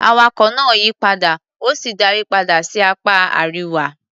Awakọ̀ náà yí padà, ó sì darí padà sí apá Àríwá.